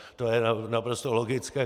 To je naprosto logické.